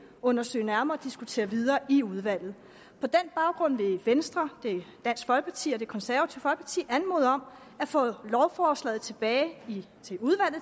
undersøge nærmere og diskutere videre i udvalget på den baggrund vil venstre dansk folkeparti og det konservative folkeparti anmode om at få lovforslaget tilbage